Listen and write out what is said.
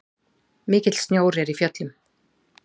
Mikill snjór er í fjöllum.